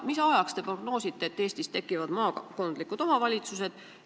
Mida te prognoosite, millal Eestis tekivad maakondlikud omavalitsused?